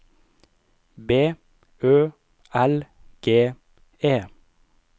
B Ø L G E